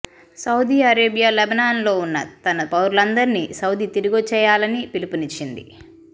Saudi Arabia లెబనాన్లో ఉన్న తన పౌరులందరిని సౌదీ తిరిగొచ్చేయాలని పిలుపునిచ్చింది